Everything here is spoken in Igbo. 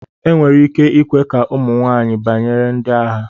enwere ike ikwe ka ụmụ nwanyị banyere ndi agha